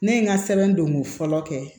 Ne ye n ka sɛbɛn don ko fɔlɔ kɛ